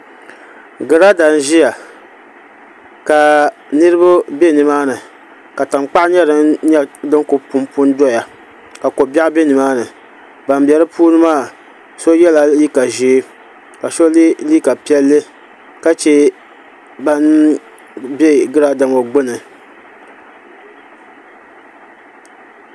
Girada n ʒiya ka niraba bɛ nimaani ka tankpaɣu nyɛ din ku punpu n doya ka ko biɛɣu bɛ nimaani ban bɛ di puuni maa so yɛla liiga ʒiɛ ka so yɛ liiga piɛlli ka chɛ ban bɛ girada ŋo gbuni